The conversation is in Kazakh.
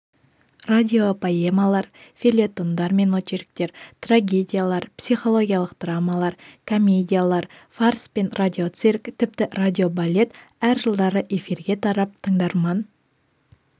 радиопоэмалар фельетондар мен очерктер трагедиялар психологиялық драмалар комедиялар фарс пен радиоцирк тіпті радиобалет әр жылдары эфирге тарап тыңдарман